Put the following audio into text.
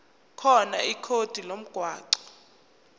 khona ikhodi lomgwaqo